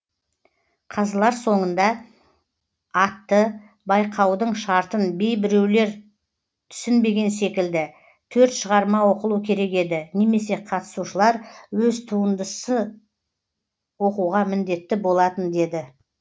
қазылар соңында атты байқаудың шартын бей біреулер түсінбеген секілді төрт шығарма оқылу керек еді немесе қатысушылар өз туындысы оқуға міндетті болатын деді